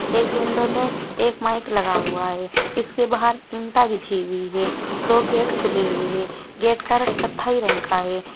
एक विंडो में एक माइक लगा हुआ है। इसके बाहर ईंटा बिछी हुई हैं। दो गेट खुली हुई हैं। गेट का रंग कत्थई रंग का है।